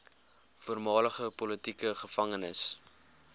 voormalige politieke gevangenes